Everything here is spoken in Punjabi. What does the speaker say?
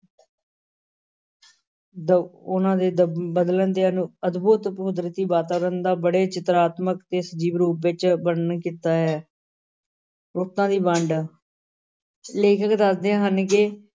ਦ~ ਉਨ੍ਹਾਂ ਦੇ ਦ~ ਬਦਲਣ ਦੇ ਅਨੁ~ ਅਦਭੁਤ ਕੁਦਰਤੀ ਵਾਤਾਵਰਨ ਦਾ ਬੜੇ ਚਿਤਰਾਤਮਿਕ ਤੇ ਸਜੀਵ ਰੂਪ ਵਿਚ ਵਰਣਨ ਕੀਤਾ ਹੈ ਰੁੱਤਾਂ ਦੀ ਵੰਡ ਲੇਖਕ ਦੱਸਦੇ ਹਨ ਕਿ